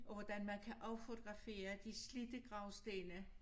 Og hvordan man kan affotografere de slidte gravstene